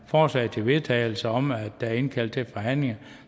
forslag til vedtagelse om at der er indkaldt til forhandlinger